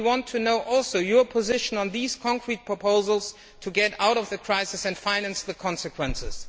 We also want to know your position on these concrete proposals to get out of the crisis and finance the consequences.